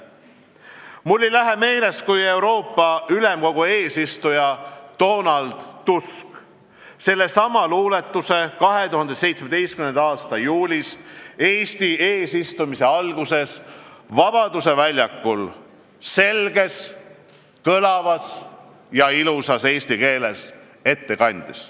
" Mul ei lähe meelest, kui Euroopa Ülemkogu eesistuja Donald Tusk sellesama luuletuse 2017. aasta juulis Eesti eesistumise alguses Vabaduse väljakul selges, kõlavas ja ilusas eesti keeles ette kandis.